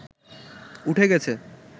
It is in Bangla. উঠে গেছে